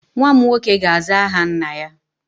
Nwa m nwoke ga-aza aha nna-ya